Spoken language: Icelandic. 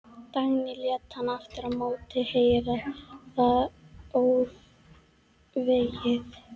Dagný lét hann aftur á móti heyra það óþvegið.